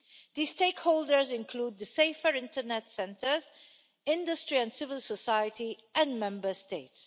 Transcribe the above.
These stakeholders include the Safer Internet centres, industry and civil society and Member States.